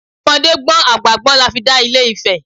Ọmọdé gbọ́n àgbà gbọ́n la fi dá Ilẹ̀ Ifẹ̀